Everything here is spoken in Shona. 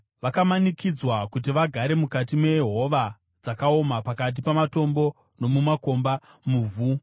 Vakamanikidzwa kuti vagare mukati mehova dzakaoma, pakati pamatombo nomumakomba, muvhu.